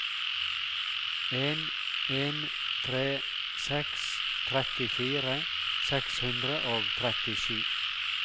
en en tre seks trettifire seks hundre og trettisju